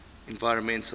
environmental